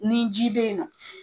Ni ji be yen nɔ